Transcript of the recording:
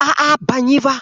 A'a, ban yi ba.